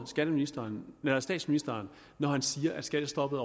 skatteministeren lyver statsministeren når han siger at skattestoppet